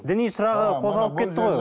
діни сұрағы қозғалып кетті ғой